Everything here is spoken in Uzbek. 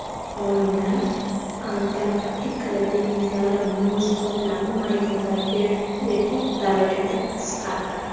Olimlar: Antarktika dengizlari muz qoplami maydoni rekord darajada qisqardi.